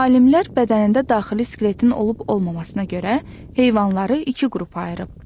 Alimlər bədənində daxili skeletin olub-olmamasına görə heyvanları iki qrupa ayırıb.